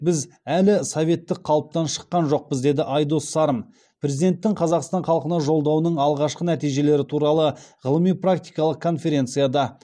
біз әлі советтік қалыптан шыққан жоқпыз деді айдос сарым президенттің қазақстан халқына жолдауының алғашқы нәтижелері туралы ғылыми практикалық конференцияда